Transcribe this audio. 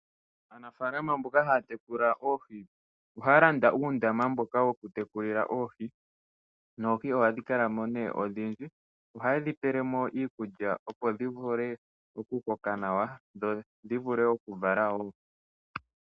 Aanafaalama mboka haa tekula oohi, ohaya landa uundama mboka wo ku tekulila oohi, noohi ohadhi kala mo nee odhindji. Ohaye dhi pele mo iikulya opo dhi vule oku koka nawa ,dho dhi vule oku vala woo.